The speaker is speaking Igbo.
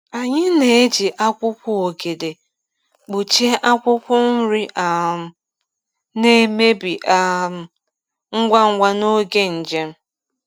Anyị na-eji akwụkwọ ogede kpuchie akwụkwọ nri um na-emebi um ngwa ngwa n’oge njem.